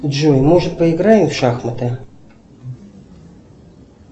джой может поиграем в шахматы